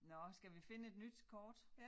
Nåh skal vi finde et nyt kort